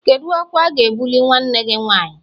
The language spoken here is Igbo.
Kedu ọkwa a ga-ebuli nwanne gị nwanyị?